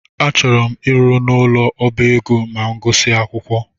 Achọrọ m ịrụ n'ụlọ ọbá ego ma m gusia akwụkwọ